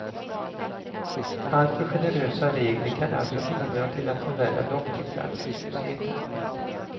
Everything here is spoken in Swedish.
Alltför generösa regler kan alltså bidra till att förvärra långtidsarbetslösheten.